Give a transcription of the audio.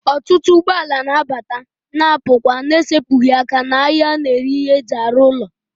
Otutu ugboala na-abata ma na-apukwa n'esepughi aka n'ahia a na-ere ihe eji aru ulo.